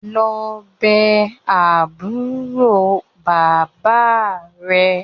Lọ bé àbúrò bàbá rẹ̀!